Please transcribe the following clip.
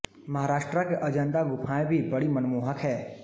महाराष्ट्रा के अजंता गुफाएँ भी बडी मनमोहक हैं